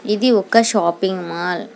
ఇది ఒక shopping mall .